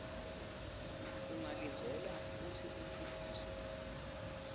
ungalindzela kutsi umshushisi